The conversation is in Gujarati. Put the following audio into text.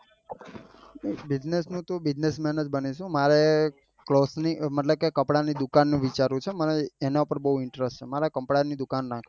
bussiness નું તો business man જ બનીશું. મારે cloth ની મતલબ કે કપડા ની દુકાન નું વિચારું છું મને એના પર બઉ interest છે મારે કપડા ની દુકાન નાખવી છે.